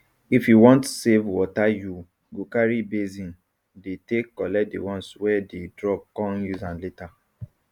if you want save wateryou go carry basin dey take collect the ones wey dey dropcon use am later